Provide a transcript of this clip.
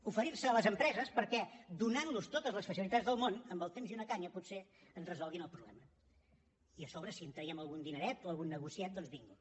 oferirse a les empreses perquè donantlos totes les facilitats del món amb el temps i una canya potser ens resolguin el problema i a sobre si en traiem algun dineret o algun negociet doncs bingo